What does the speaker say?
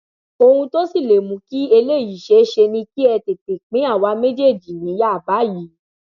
ohun tó sì lè mú kí eléyìí ṣèèṣe ni kẹ ẹ tètè pín àwa méjèèjì níyà báyìí